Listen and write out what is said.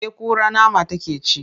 Eh kura nama take ci.